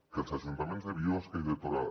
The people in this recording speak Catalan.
que els ajuntaments de biosca i de torà